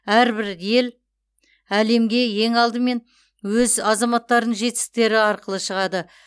әрбір ел әлемге ең алдымен өз азаматтарының жетістіктері арқылы шығады